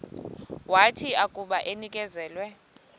wathi akuba enikezelwe